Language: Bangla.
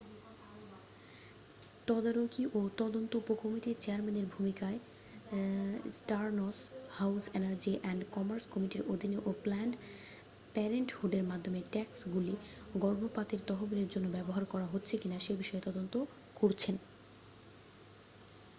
তদারকি ও তদন্ত উপকমিটির চেয়ারম্যানের ভূমিকায় Stearns House energy and commerce কমিটির অধীনে ও প্ল্যানড প্যারেন্টহুডের মাধ্যমে ট্যাক্সগুলি গর্ভপাতের তহবিলের জন্য ব্যবহার করা হচ্ছে কিনা সে বিষয়ে তদন্ত করছেন